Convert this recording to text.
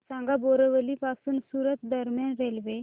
सांगा बोरिवली पासून सूरत दरम्यान रेल्वे